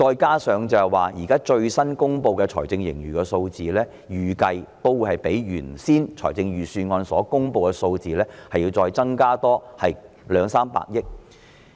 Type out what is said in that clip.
況且，最新公布的財政盈餘數字預計將較預算案所公布的數字高兩三百億元。